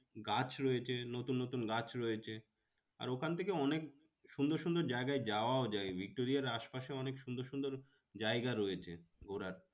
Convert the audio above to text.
গাছ রয়েছে নতুন নতুন গাছ রয়েছে আর ওখান থেকে অনেক সুন্দর সুন্দর জায়গায় যাওয়াও যায় ভিক্টোরিয়ায় আশপাশে অনেক সুন্দর সুন্দর জায়গা রয়েছে ঘোড়ার